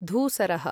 धूसरः